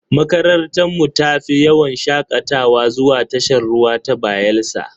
Makarantarmu ta tafi yawon shakatawa zuwa tashar ruwa ta Bayelsa.